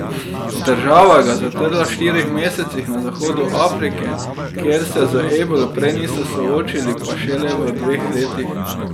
Država ga je zatrla v štirih mesecih, na zahodu Afrike, kjer se z ebolo prej niso soočili, pa šele v dveh letih.